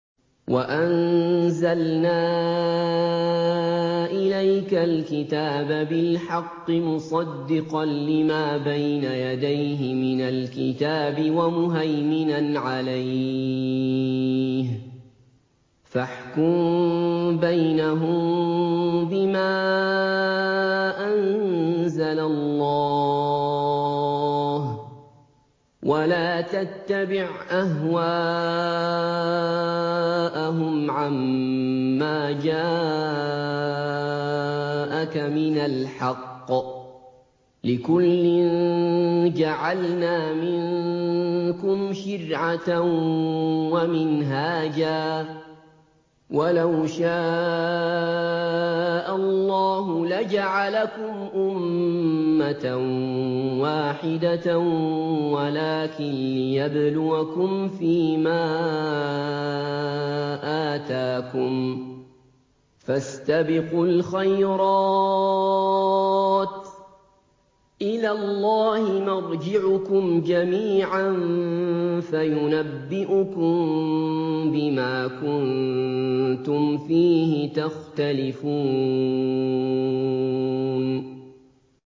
وَأَنزَلْنَا إِلَيْكَ الْكِتَابَ بِالْحَقِّ مُصَدِّقًا لِّمَا بَيْنَ يَدَيْهِ مِنَ الْكِتَابِ وَمُهَيْمِنًا عَلَيْهِ ۖ فَاحْكُم بَيْنَهُم بِمَا أَنزَلَ اللَّهُ ۖ وَلَا تَتَّبِعْ أَهْوَاءَهُمْ عَمَّا جَاءَكَ مِنَ الْحَقِّ ۚ لِكُلٍّ جَعَلْنَا مِنكُمْ شِرْعَةً وَمِنْهَاجًا ۚ وَلَوْ شَاءَ اللَّهُ لَجَعَلَكُمْ أُمَّةً وَاحِدَةً وَلَٰكِن لِّيَبْلُوَكُمْ فِي مَا آتَاكُمْ ۖ فَاسْتَبِقُوا الْخَيْرَاتِ ۚ إِلَى اللَّهِ مَرْجِعُكُمْ جَمِيعًا فَيُنَبِّئُكُم بِمَا كُنتُمْ فِيهِ تَخْتَلِفُونَ